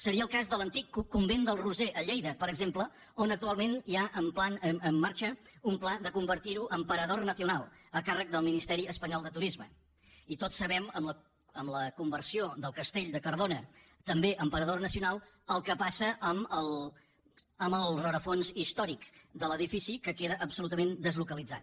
seria el cas de l’antic convent del roser a lleida per exemple on actualment hi ha en marxa un pla de convertir ho en parador nacionalespanyol de turisme i tots sabem amb la conversió del castell de cardona també en parador nacionalel que passa amb el rerefons històric de l’edifici que queda absolutament deslocalitzat